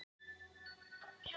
Eigendur lausra hunda kærðir